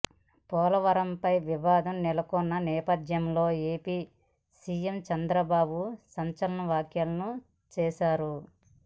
పోలవరంపై వివాదం నెలకొన్న నేపథ్యంలో ఏపీ సీఎం చంద్రబాబు సంచలన వ్యాఖ్యలు చేశారు